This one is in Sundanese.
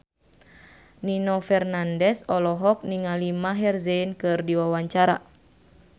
Nino Fernandez olohok ningali Maher Zein keur diwawancara